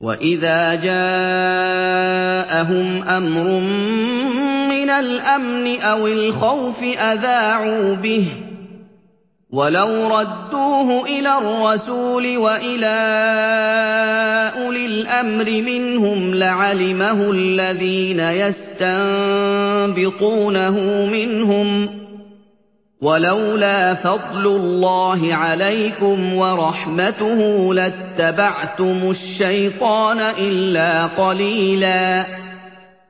وَإِذَا جَاءَهُمْ أَمْرٌ مِّنَ الْأَمْنِ أَوِ الْخَوْفِ أَذَاعُوا بِهِ ۖ وَلَوْ رَدُّوهُ إِلَى الرَّسُولِ وَإِلَىٰ أُولِي الْأَمْرِ مِنْهُمْ لَعَلِمَهُ الَّذِينَ يَسْتَنبِطُونَهُ مِنْهُمْ ۗ وَلَوْلَا فَضْلُ اللَّهِ عَلَيْكُمْ وَرَحْمَتُهُ لَاتَّبَعْتُمُ الشَّيْطَانَ إِلَّا قَلِيلًا